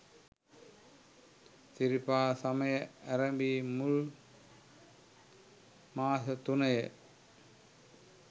සිරිපා සමය ඇරැඹී මුල් මාස තුනය.